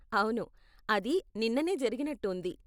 అవును, అది నిన్ననే జరిగినట్టు ఉంది.